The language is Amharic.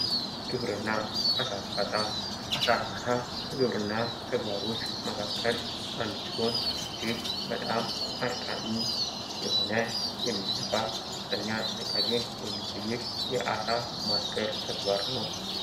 ግብርና አሣ እርባታ አሳ እርባታ ከግብርና ተግባሮች መካከል አንዱ ሲሆን እጅግ በጣም አድካሚ የሆነ የሚያለፋ ከፍተኛ ጥንቃቄ የሚጠይቅ የአሳ ማስገር ተግባር ነው።